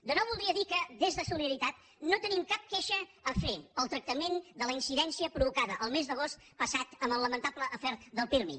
de nou voldria dir que des de solidaritat no tenim cap queixa a fer per al tractament de la incidència provocada el mes d’agost passat en el lamentable afer del pirmi